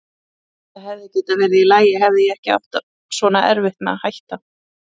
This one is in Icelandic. Það hefði getað verið í lagi hefði ég ekki átt svona erfitt með að hætta.